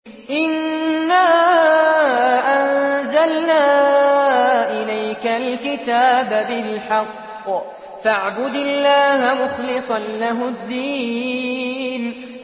إِنَّا أَنزَلْنَا إِلَيْكَ الْكِتَابَ بِالْحَقِّ فَاعْبُدِ اللَّهَ مُخْلِصًا لَّهُ الدِّينَ